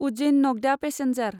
Ujjain Nagda passenger